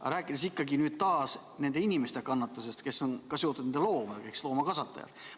Aga räägime ikkagi nüüd ka nende inimeste kannatusest, kes on seotud nende loomadega, räägime loomakasvatajatest.